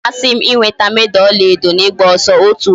Ọ ga-amasị m ịnweta meda ọla edo n'ịgba ọsọ otu ụbọchị